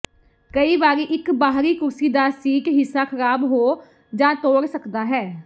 ਕਈ ਵਾਰੀ ਇੱਕ ਬਾਹਰੀ ਕੁਰਸੀ ਦਾ ਸੀਟ ਹਿੱਸਾ ਖਰਾਬ ਹੋ ਜਾਂ ਤੋੜ ਸਕਦਾ ਹੈ